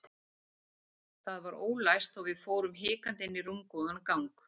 Það var ólæst og við fórum hikandi inn í rúmgóðan gang.